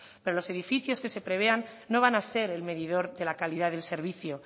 pero los edificios que se prevean no van a ser el medidor de la calidad del servicio